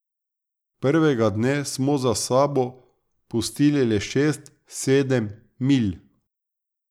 Prvega dne smo za sabo pustili le šest, sedem milj.